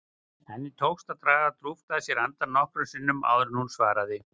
Henni tókst að draga djúpt að sér andann nokkrum sinnum áður en hún svaraði.